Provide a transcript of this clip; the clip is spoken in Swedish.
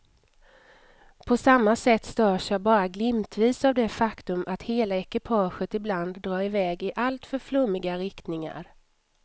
På samma sätt störs jag bara glimtvis av det faktum att hela ekipaget ibland drar i väg i alltför flummiga riktningar.